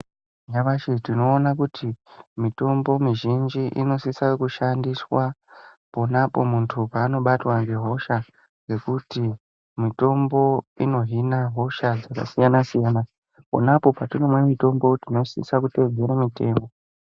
Nyamashi tinoona kuti mitombo muzhinji ,inosisa kushandiswa, pona apo muntu paanobatwa ngehosha, ngekuti mitombo inohina hosha dzakasiyana-siyana. Pona apo patinomwa mitombo tinosisa kuteedzera mitemo.